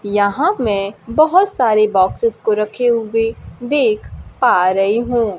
यहां मैं बहोत सारे बॉक्सेस को रखे हुए देख पा रही हूं।